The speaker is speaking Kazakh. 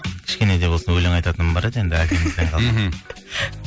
кішкене де болсын өлең айтатыным бар еді әкемізден қалған мхм